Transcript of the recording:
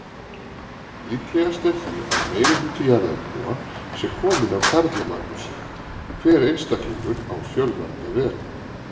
Líklegast er því að meirihluti jarðarbúa sé kominn af Karlamagnúsi, hver einstaklingur á fjölmarga vegu.